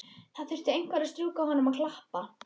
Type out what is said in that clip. Það þurfti einhver að strjúka honum og klappa.